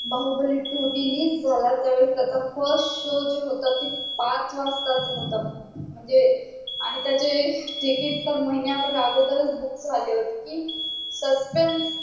Baahubali two release झाला त्या वेळी त्याच्या first show जो होता तो पाच वासातचा होता म्हणजे आणि त्याची ticket तर महिन्या भर अगोदरच book झाली होती की संगड्यां